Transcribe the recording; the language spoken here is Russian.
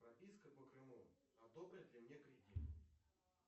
прописка по крыму одобрят ли мне кредит